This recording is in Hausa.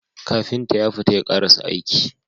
Kafinta yafita ya karasa aiki